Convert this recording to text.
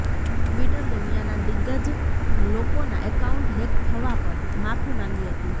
Twitter દુનિયાના દિગ્ગજ લોકોના એકાઉન્ટ હેક થવા પર માફી માંગી હતી